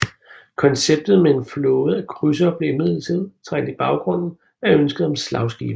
Konceptet med en flåde af krydsere blev imidlertid trængt i baggrunden af ønsket om slagskibe